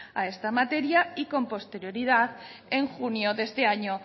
a esta materia y con posterioridad en junio de este año